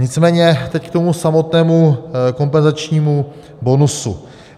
Nicméně teď k tomu samotnému kompenzačnímu bonusu.